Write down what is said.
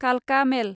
कालका मेल